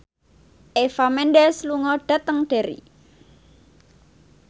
Eva Mendes lunga dhateng Derry